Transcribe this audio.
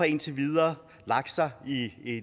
indtil videre lagt sig i